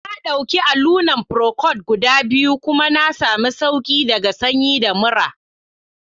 Na dauki allunan procold guda biyu kuma na sami sauki daga sanyi da murra